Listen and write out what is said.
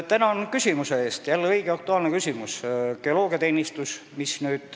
Tänan küsimuse eest, mis on jälle õige ja aktuaalne!